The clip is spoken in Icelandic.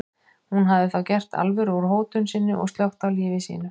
Hún hafði þá gert alvöru úr hótun sinni og slökkt á lífi sínu.